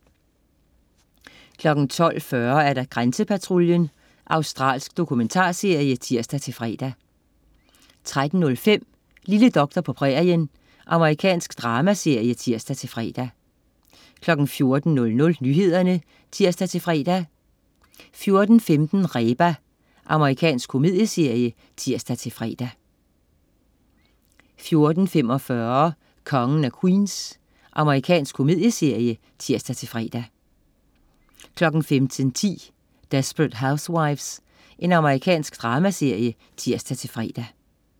12.40 Grænsepatruljen. Australsk dokumentarserie (tirs-fre) 13.05 Lille doktor på prærien. Amerikansk dramaserie (tirs-fre) 14.00 Nyhederne (tirs-fre) 14.15 Reba. Amerikansk komedieserie (tirs-fre) 14.45 Kongen af Queens. Amerikansk komedieserie (tirs-fre) 15.10 Desperate Housewives. Amerikansk dramaserie (tirs-fre)